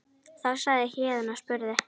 Þá sagði Héðinn og spurði